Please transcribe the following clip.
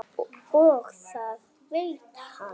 Og það veit hann.